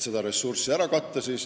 Tema panus tuleb ära katta.